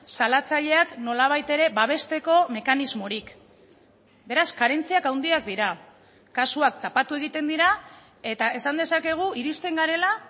salatzaileak nolabait ere babesteko mekanismorik beraz karentziak handiak dira kasuak tapatu egiten dira eta esan dezakegu irizten garela